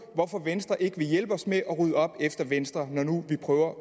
hvorfor venstre ikke vil hjælpe os med at rydde op efter venstre når nu vi prøver